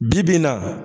Bi bi in na